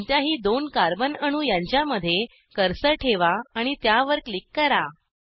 कोणत्याही दोन कार्बन अणू यांच्यामध्ये कर्सर ठेवा आणि त्यावर क्लिक करा